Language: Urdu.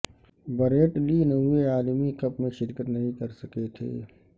بریٹ لی نویں عالمی کپ میں شرکت نہیں کر سکے تھے